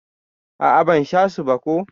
A'a ban sha su ba ko.